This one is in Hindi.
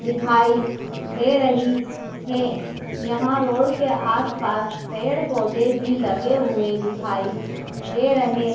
दिखाई दे रही है यहां रोड के आसपास पेड़ पौधे भी लगे हुए दिखाई दे रहे--